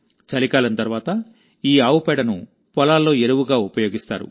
చలికాలం తర్వాత ఈ ఆవు పేడను పొలాల్లో ఎరువుగా ఉపయోగిస్తారు